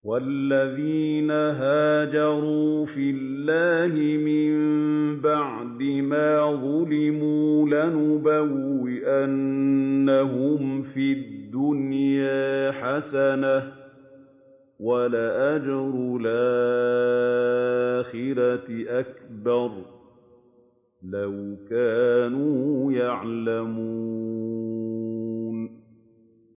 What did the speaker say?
وَالَّذِينَ هَاجَرُوا فِي اللَّهِ مِن بَعْدِ مَا ظُلِمُوا لَنُبَوِّئَنَّهُمْ فِي الدُّنْيَا حَسَنَةً ۖ وَلَأَجْرُ الْآخِرَةِ أَكْبَرُ ۚ لَوْ كَانُوا يَعْلَمُونَ